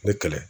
Ne kɛlɛ